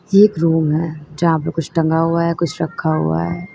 एक रूम है यहां पे कुछ टंगा हुआ है कुछ रखा हुआ है।